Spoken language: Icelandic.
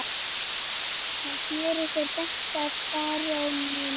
Hann sneri sér beint að baróninum